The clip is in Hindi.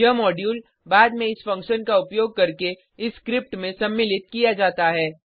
यह मॉड्यूल बाद में इस फंक्शन का उपयोग करके इस स्क्रिप्ट में सम्मिलित किया जाता है